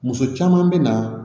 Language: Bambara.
Muso caman bɛ na